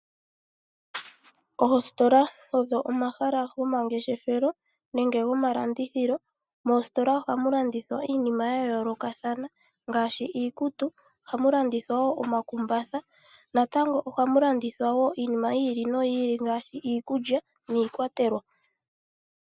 Oositola odho omahala gomangeshefelo nenge gomalandithilo. Moositola ohamu landithwa iinima yayoolokathana ngaashi iikutu, omakumbatha, iikulya niikwatelwa.